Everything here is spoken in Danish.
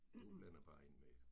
Du blander bare ind med det